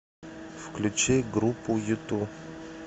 включи группу юту